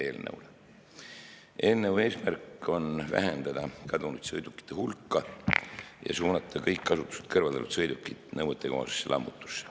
Eelnõu eesmärk on vähendada kadunud sõidukite hulka ja suunata kõik kasutuselt kõrvaldatud sõidukid nõuetekohasesse lammutusse.